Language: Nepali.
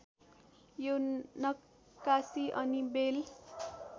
यो नक्काशी अनि बेल